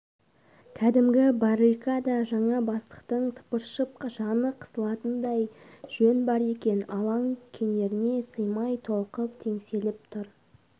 кәдімгі баррикада жаңа бастықтың тыпыршып жаны қысылатындай жөн бар екен алаң кенеріне сыймай толқып теңселіп тұр